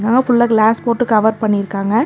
அங்க ஃபுல்லா கிளாஸ் போட்டு கவர் பண்ணிருக்காங்க.